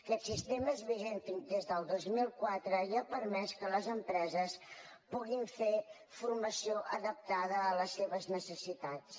aquest sistema és vigent des del dos mil quatre i ha permès que les empreses puguin fer formació adaptada a les seves necessitats